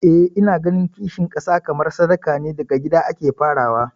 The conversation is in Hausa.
Eh ina ganin kishin kasa kamar sadaka ne, daga gida ake farawa.